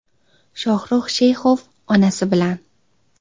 Shohruh Sheyxov onasi bilan.